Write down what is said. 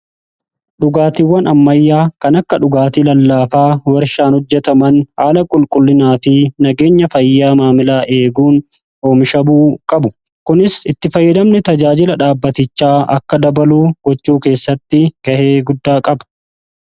Dhugaatiiwwan ammayyaa kan akka dhugaatii lallaafaa warshaan hojjetaman haala qulqullinaa fi nageenya fayyaa maamilaa eeguun oomishamuu qaba. Kunis itti fayyidamni tajaajila dhaabbatichaa akka dabaluu gochuu keessatti ga'ee guddaa qaba.